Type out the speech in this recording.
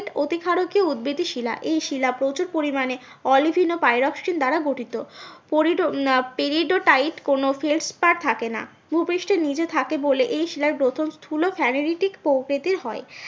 এটি ক্ষারকীয় উৎবেদী শিলা এই শিলা প্রচুর পরিমানে অলিভিন ও পাইরোক্সিন দ্বারা গঠিত পেরিডোটাইট কোনো থাকে না। ভুপৃষ্ঠের নিচে থাকে বলে এই শিলার গ্রথন স্থুল স্যানেরেটিক প্রকৃতিতে হয়।